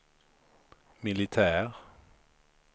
militär